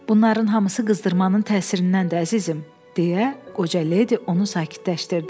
Bunların hamısı qızdırmanın təsirindəndir, əzizim, deyə qoca ledi onu sakitləşdirdi.